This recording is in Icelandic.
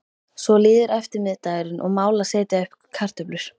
Svo líður eftirmiðdagurinn og mál að setja upp kartöflur.